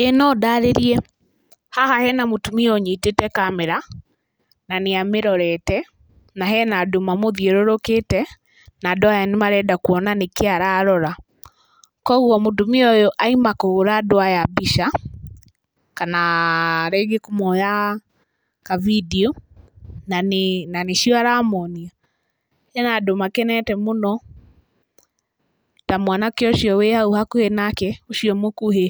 ĩ nondarĩrie, haha hena mũtumia ũnyitĩte kamera na nĩamĩrorete na hena andũ mamũthiũrũrũkĩte na andũ aya nĩmarenda kũona nĩkĩĩ ararora. Koguo mũtumia ũyũ auma kũhũra andũ aya mbica kana rĩngĩ kũmoya kabindiũ na nĩcio aramonia. Na hena andũ makenete mũno ta mwanake ũcio wĩ hakuhĩ nake ũcio mũkuhĩ.